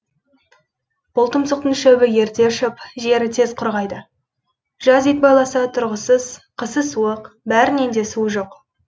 бұл тұмсықтың шөбі ерте ұшып жері тез құрғайды жаз ит байласа тұрғысыз қысы суық бәрінен де суы жоқ